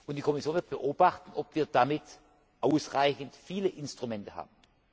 Die Kommission wird beobachten, ob wir damit ausreichend viele Instrumente haben.